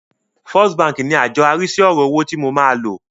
First bank ní àjọ arísí ọ̀rọ̀ owó tí mo máa lò.